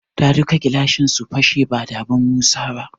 Da duka gilashin su fashe da badan Musa ba.